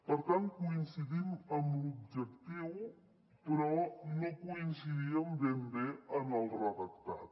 per tant coincidim amb l’objectiu però no coincidíem ben bé en el redactat